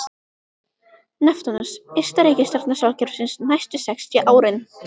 Neptúnus ysta reikistjarna sólkerfisins næstu sextíu árin.